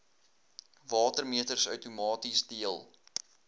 watermeters outomaties deel